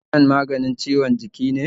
Ibropofen maganin ciwon jiki ne?